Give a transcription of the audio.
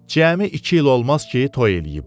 Cəmi iki il olmaz ki, toy eləyiblər.